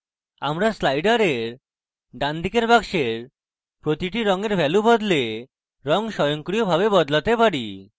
আমরা sliders ডান দিকে বাক্সের প্রতিটি রঙের ভ্যালু বদলে রঙ স্বয়ংক্রিয়ভাবে বদলাতে পারি